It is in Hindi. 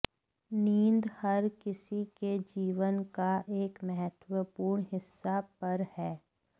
नींद हर किसी के जीवन का एक महत्वपूर्ण हिस्सा पर है